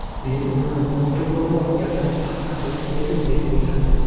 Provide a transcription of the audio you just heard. Men uni noto‘g‘riroq gapirib, xafa qilib qo‘ydim deb o‘yladim.